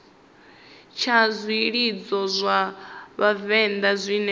tsha zwilidzo zwa vhavenḓa zwine